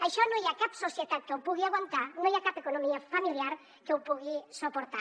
això no hi ha cap societat que ho pugui aguantar no hi ha cap economia familiar que ho pugui suportar